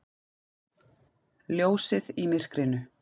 Ljósið í myrkrinu!